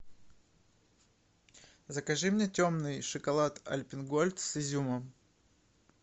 закажи мне темный шоколад альпен гольд с изюмом